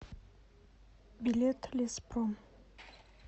билет леспром